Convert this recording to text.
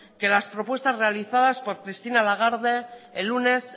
que las propuestas realizadas por christine lagarde el lunes